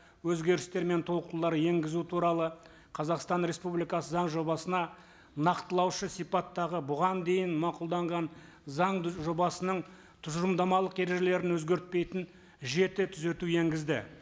өзгерістер мен толықтырулар енгізу туралы қазақстан республикасы заң жобасына нақтылаушы сипаттағы бұған дейін мақұлданған заң жобасының тұжырымдамалық ережелерін өзгертпейтін жеті түзету енгізді